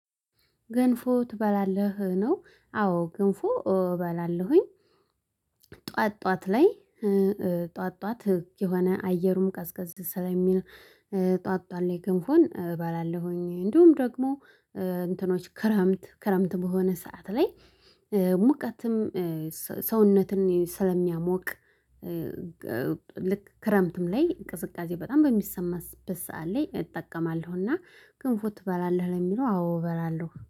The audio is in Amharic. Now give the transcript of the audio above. ገንፎ ትበላለህ ነው አዎ ገንፎ እበላለሁኝ። ጥዋት ጥዋት ላይ ጥዋት ጥዋት የሆነ አየሩም ቀዝቀዝ ስለሚል ጥዋት ጥዋት ላይ ገንፎን እባላለሁኝ። እንዲሁም ደግሞ እንትኖች ክረምት ክረምት በሆነ ሰዓት ላይ ሙቀትም ሰውነትን ስለሚያሞቅ። ልክ ክረምትም ላይ ቅዝቃዜ በጣም በሚሰማበት ላይ እጠቀማለሁና ገንፎ ትበላለህ ለሚለው አዎ እበላለሁ